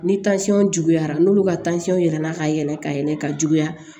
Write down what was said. Ni juguyara n'olu ka yɛlɛnna ka yɛlɛ ka yɛlɛ ka juguya